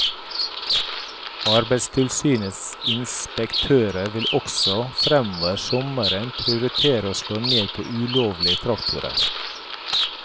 Arbeidstilsynets inspektører vil også framover sommeren prioritere å slå ned på ulovlige traktorer.